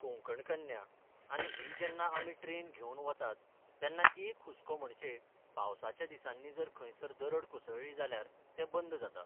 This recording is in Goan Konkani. कोंकण कन्या, आनी ही जेन्ना आमी ट्रॅन घेवन वतात तेन्ना एक हुस्को म्हणचे पावसाच्या दिसांनी जर खंयसर दरड कोसळ्ळी जाल्यार ते बंद जाता.